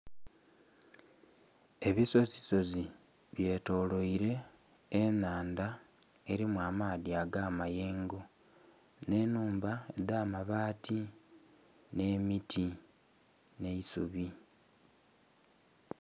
Ebisozisozi bye tolweire enhandha erimu amaadhi aga mayengo nhe nhumba edha mabati nhe miti nhe eisubi.